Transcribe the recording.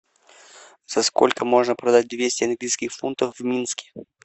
за сколько можно продать двести английских фунтов в минске